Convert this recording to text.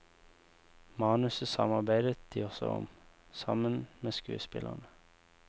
Manuset samarbeidet de også om, sammen med skuespillerne.